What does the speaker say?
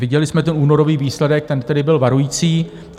Viděli jsme ten únorový výsledek, ten tedy byl varující.